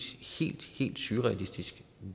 helt surrealistisk